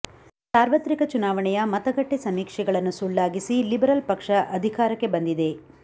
ಸಾರ್ವತ್ರಿಕ ಚುನಾವಣೆಯ ಮತಗಟ್ಟೆ ಸಮೀಕ್ಷೆಗಳನ್ನು ಸುಳ್ಳಾಗಿಸಿ ಲಿಬರಲ್ ಪಕ್ಷ ಅಧಿಕಾರಕ್ಕೆ ಬಂದಿದೆ